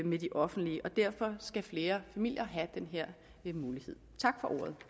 med de offentlige og derfor skal flere familier have den her mulighed tak